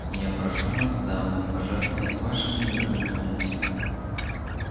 я прошу вас дамы пожертвовать вашими драгоценностями